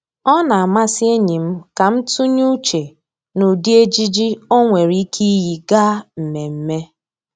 Ọ na-amasị enyi m ka m tụnye uche n'ụdị ejiji o nwere ike iyi gaa mmemme